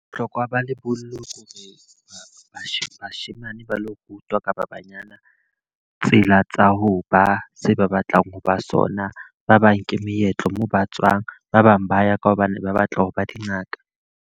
Bohlokwa ba lebollo ke hore, bashemane ba lo rutwa kapa banyana tsela tsa ho ba se ba batlang ho ba sona. Ba bang ke meetlo moo ba tswang, ba bang ba ya ka hobane ba batla hore ba dingaka.